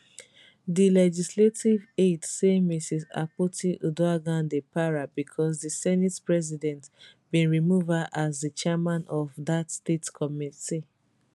di legislative aide say mrs akpotiuduaghan dey para becos di senate president bin remove her as di chairman of dat senate committee